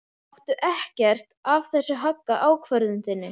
Láttu ekkert af þessu hagga ákvörðun þinni.